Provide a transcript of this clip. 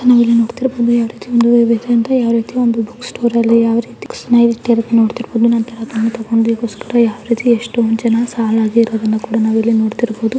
ಜನ ಇಲ್ಲಿ ನೋಡ್ತಿರಬಹುದು ಯಾವ ರೀತಿ ಒಂದು ಯಾವ ರೀತಿ ಬುಕ್ ಸ್ಟೋರ್ ಅಲ್ಲಿ ಯಾವ ರೀತಿ ಬುಕ್ಸನ ಇಟ್ಟಿದ್ದಾರೆ ಇಲ್ಲಿ ನೋಡ್ತಇರಬಹುದು ಬುಕ್ಸಗೋಸ್ಕರ ಸಾಲಾಗಿ ಎಷ್ಟೊಂದು ಜನ ನಿಂತಿದ್ದಾರೆ ಅಂತ ನಾವು ನೋಡಬಹದು.